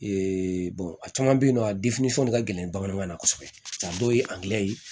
Ee a caman be yen nɔ ka gɛlɛn bamanankan na kosɛbɛ yan dɔw ye ye